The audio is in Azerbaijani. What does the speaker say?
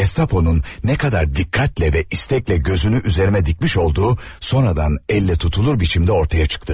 Gestaponun nə qədər diqqətlə və istəklə gözünü üzərimə dikmiş olduğu sonradan əllə tutulur biçimdə ortaya çıxdı.